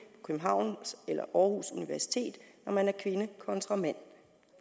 københavns eller aarhus universiteter når man er kvinde kontra mand